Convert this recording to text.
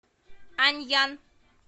аньян